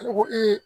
Ne ko